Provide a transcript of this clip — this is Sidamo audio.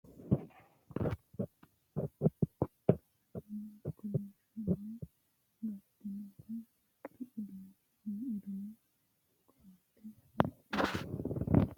Kiironsa onte ikkitannori labballu weselli hedotenni dironsa taalo badheensaanni biifino daraarchi noowa gemba yite uurritino uddidhino uduunnino ikko qodhitino qodhatto babbaxxitino danite lamu waajjo koatte, lamu kayiinni kolishshonna gatinohu mittu duume koatte wodhino